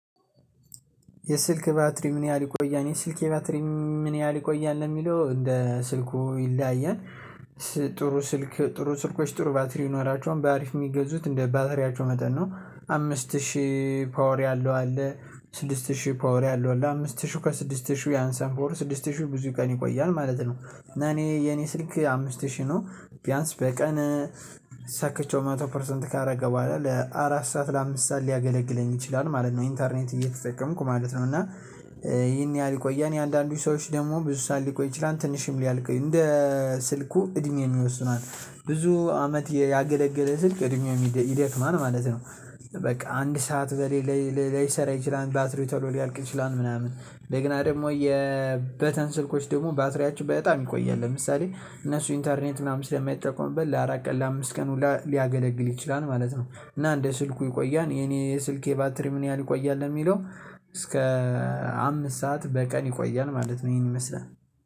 የስልክ ባትሪ ምን ያህል ይቆያል? የስልኬ ባትሪ ምን ያህል ይቆያል ለሚለው እንደ ስልኩ ይለያያል። ጥሩ ስልክ ጥሩ ስልኮች ጥሩ ባትሪ ይኖራቸውል በአሪፍ የሚገዙት እንደ ባትሪያቸው መጠን ነው። አምስት ሺህ ፓወር ያለው አለ። ስድስት ሺህ ፓወር ያለው አለ አምስት ሺህ ከስድስት ሺህ ያንሳል ሞር ስድስት ሺህ ብዙ ቀን ይቆያል ማለት ነው። እና እኔ የኔ ስልክ አምስት ሺህ ነው። ቢያንስ በቀን ሰክቼው መቶ ፐርሰንት ካረገ በኋላ ለአራት ሰዓት ለአምስት ሰዓት ሊያገለግለኝ ይችላል ማለት ነው። ኢንተርኔት እየተጠቀምኩ ማለት ነው እና ይሄን ያህል ይቆያል። የአንዳንዱ ሰዎች ደግሞ ብዙ ሰዓት ሊቆይ ይችላል ትንሽም ሊያልቅ እንደ ስልኩ እድሜ የወስነዋል። ብዙ አመት ያገለገለ ስልክ እድሜው ይደክማል ማለት ነው። በቃ አንድ ሰዓት በሌላ ላይሰራ ይችላል ባትሪው ቶሎ ሊያልቅ ይችላል ምናምን እንደገና ደግሞ የበተን ስልኮች ደግሞ ባትሪያችሁ በጣም ይቆያል። ለምሳሌ እነሱ ኢንተርኔት ምናምን ስለማይጠቀሙበት ለአራት ቀን ለአምስት ቀን ሁላ ሊያገለግል ይችላል ማለት ነው። እና እንደ ስልኩ ይቆያል የኔ ስልኬ ባትሪ ምን ያህል ይቆያል ለሚለው እስከ አምስት ሰዓት በቀን ይቆያል ማለት ነው። ይሄን ይመስላል